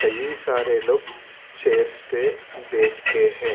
ये सारे लोग चेयर्स पे बैठ के हैं।